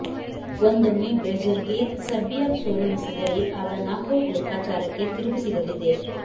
ಒಂದೊಮ್ಮೆ ಬ್ರೆಜಿಲ್ಗೆ ಸರ್ಬಿಯಾ ಸೋಲುಣಿಸಿದರೆ ಆಗ ನಾಕೌಟ್ ಲೆಕ್ಕಾಚಾರಕ್ಕೆ ತಿರುವು ಸಿಗಲಿದೆ